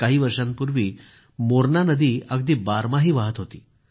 काही वर्षांपूर्वी मोरणा नदी अगदी बारमाही वाहत होती